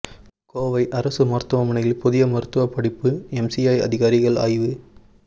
கோவை அரசு மருத்துவமனையில் புதிய மருத்துவ படிப்பு எம்சிஐ அதிகாரிகள் ஆய்வு